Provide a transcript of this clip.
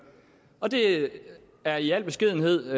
og det er i al beskedenhed